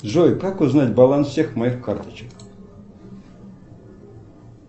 джой как узнать баланс всех моих карточек